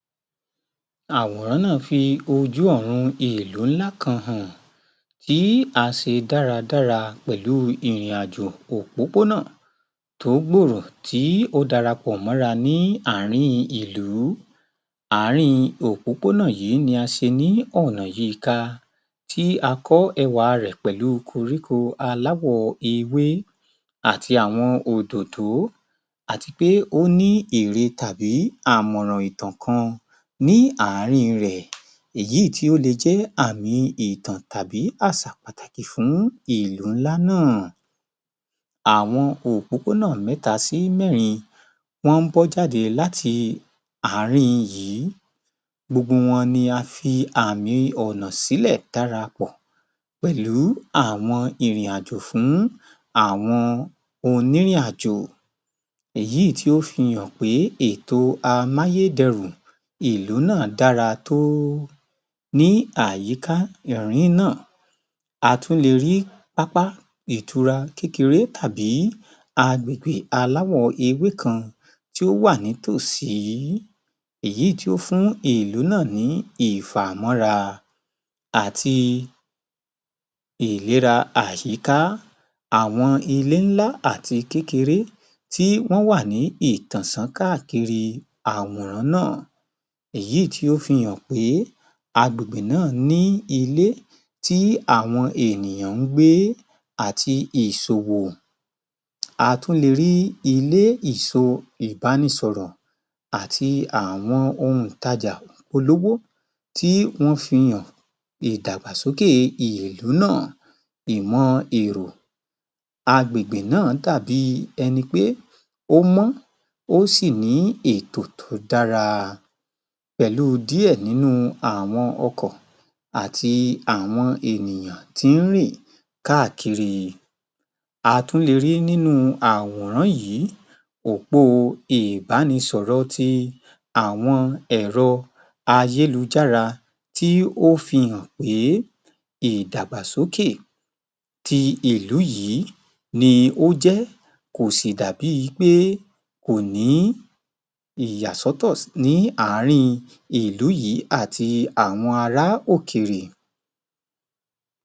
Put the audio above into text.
Àwòrán náà fi ojú ọ̀run èlò ńlá kan hàn tí a se dáradára pẹ̀lú ìrìn-àjò òpópónà tó gbòòrò tí o dara pọ̀ mọ́ra ní àárín ìlú. Àárín òpópónà yìí ni a se ní ọ̀nà yí i ka tí a kọ́ ẹwà rẹ̀ pẹ̀lú koríko aláwọ̀ ewé àti àwọn òdòdó àti pé ó ní ère tàbí àmọ̀ràn-ìtàn kan ní àárín rẹ̀. Èyí tí ó le jẹ́ àmi ìtàn tàbí àsà pàtàkì fún ìlú ńlá náà. Àwọn òpópónà mẹ́ta sí mẹ́rin wọ́n ń bọ́ jáde láti àárín yìí. Gbogbo wọn ni a fi àmì ọ̀nà sílẹ̀ darapọ̀ pẹ̀lú àwọn ìrìn-àjò fún àwọn onírìn-àjò. Èyí tí ó fi hàn pé ètò amáyé dẹrùn ìlú náà dára tó ní àyíká irín náà. A tún le rí pápá ìtura kékeré tàbí àgbègbè aláwọ̀-ewé kan tí ó wà nítòsí ìyí tí ó fún ìlú náà ní ìfàmọ́ra àti ìlera àyíká àwọn ilé ńlá àti kékeré tí wọ́n wà ní ìtànṣán káàkiri àwòrán náà èyí tí ó fi hàn pé agbègbè náà ní ilé tí àwọn ènìyàn ń gbé àti ìṣòwò. A tún le rí ilé ìso ìbánisọ̀rọ̀ àti àwọn ohun ìtajà kólóbó tí wọ́n fihàn. Ìdàgbàsókè ìlú náà, ìmọ-èrò, àgbègbè náà dàbi ẹni pé ó mọ́, ó sì ní ètò tó dára pẹ̀lú díẹ̀ nínu àwọn ọkọ̀ àti àwọn ènìyàn tí ń rìn káàkiri. A tún le rí nínú àwòrán yìí òpó o ìbánisọ̀rọ̀ ti àwọn ẹ̀rọ ayélujára tí ó fihàn pé ìdàgbàsókè ti ìlú yìí ni ó jẹ́ kò sì dà bíi pé kò ní ìyásọ́tọ̀ ní àárín ìlú yìí àti àwọn ará òkèrè.